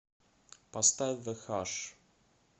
поставь зэ хаш